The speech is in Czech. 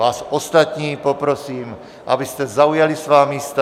Vás ostatní poprosím, abyste zaujali svá místa.